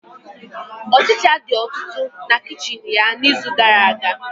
Ọchicha dị ọtụtụ na kichin ya n'izu gara-aga.